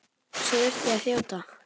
Svo þurfti ég að þjóta.